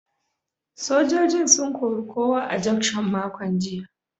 Sojojin sun kori kowa a juction makon jiya.